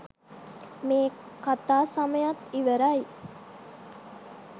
මේ කතා සමයත් ඉවරයි